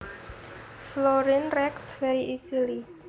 Fluorine reacts very easily